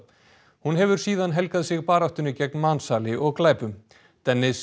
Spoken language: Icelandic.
hún hefur síðan helgað sig baráttunni gegn mansali og glæpum